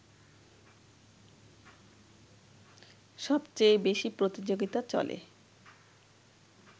সবচেয়ে বেশি প্রতিযোগিতা চলে